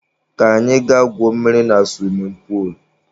Ka anyị ga gwuo mmiri na suwimin puulu.